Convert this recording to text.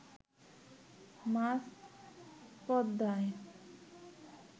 মাঝ পদ্মায়